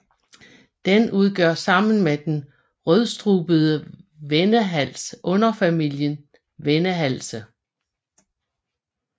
Den udgør sammen med den rødstrubede vendehals underfamilien vendehalse